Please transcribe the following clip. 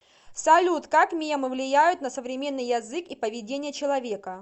салют как мемы влияют на современный язык и поведение человека